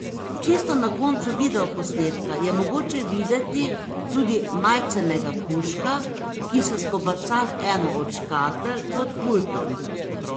Čisto na koncu videoposnetka je mogoče videti tudi majcenega kužka, ki se skobaca v eno od škatel pod pultom.